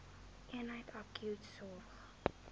eenheid akute sorg